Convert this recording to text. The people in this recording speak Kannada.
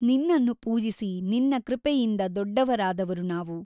ನಿನ್ನನ್ನು ಪೂಜಿಸಿ ನಿನ್ನ ಕೃಪೆಯಿಂದ ದೊಡ್ಡವರಾದವರು ನಾವು.